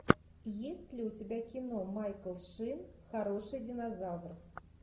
есть ли у тебя кино майкл шин хороший динозавр